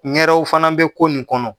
Ŋɛrɛw fana bɛ ko nin kɔnɔ.